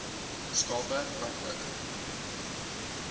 skape ka nook